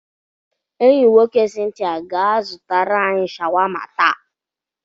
Enyi nwoke Cynthia ga-azụtara anyị shawama taa.